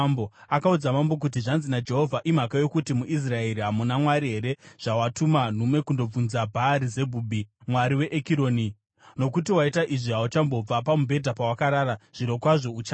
Akaudza mambo kuti, “Zvanzi naJehovha: Imhaka yokuti muIsraeri hamuna Mwari here zvawatuma nhume kundobvunza Bhaari-Zebhubhi, mwari weEkironi? Nokuti waita izvi, hauchambobva pamubhedha pawakarara. Zvirokwazvo uchafa!”